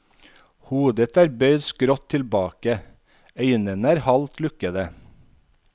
Hodet er bøyd skrått tilbake, øynene er halvt lukkede.